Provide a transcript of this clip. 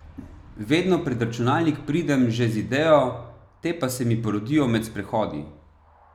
Vedno pred računalnik pridem že z idejo, te pa se mi porodijo med sprehodi.